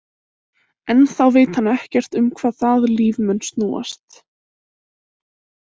Ennþá veit hann ekkert um hvað það líf mun snúast.